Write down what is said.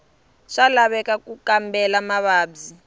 swa laveka ku kambela mavabyi